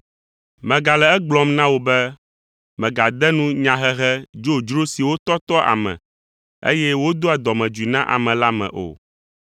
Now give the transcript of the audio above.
Megale egblɔm na wò be mègade nu nyahehe dzodzro siwo tɔtɔa ame, eye wodoa dɔmedzoe na ame la me o.